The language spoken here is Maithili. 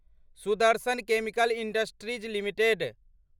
Sudarshan chemical industries limited